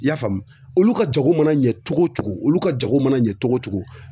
I y'a faamu olu ka jago mana ɲɛ cogo o cogo olu ka jago mana ɲɛ cogo cogo